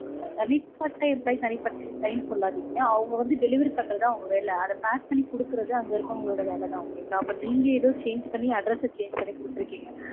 தனிப்பட்ட employee தனிப்பட்ட employee னு சொல்லாதீங்க. அவங்க வந்து delivery பண்றது அவங்க வேலை. அத pack பண்ணி கொடுக்கறது அங்க இருக்கறவங்களோட வேலதா. okay ங்களா. அப்போ நீங்க ஏதோ change பண்ணி address change பண்ணி கொடுத்திருக்கீங்க.